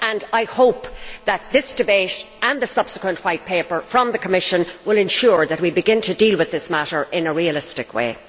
I hope that this debate and the subsequent White Paper from the Commission will ensure that we begin to deal with this matter in a realistic way.